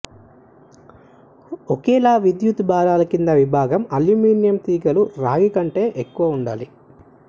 ఒకేలా విద్యుత్తు భారాల కింద విభాగం అల్యూమినియం తీగలు రాగి కంటే ఎక్కువ ఉండాలి